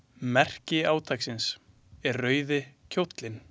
Merki átaksins er rauði kjóllinn.